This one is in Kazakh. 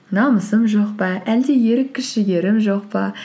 намысым жоқ па әлде ерік күш жігерім жоқ па